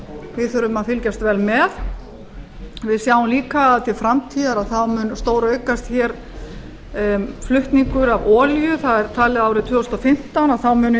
við þurfum að fylgjast vel með við sjáum líka að til framtíðar mun stóraukast flutningur á olíu talið er að árið tvö þúsund og fimmtán muni